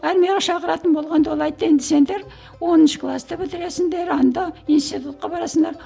армияға шақыратын болғанда ол айтты енді сендер оныншы класты бітіресіңдер анда институтқа барасыңдар